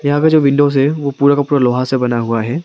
यहां पे जो विंडोज ओ पूरा का पूरा लोहा से बना हुआ है।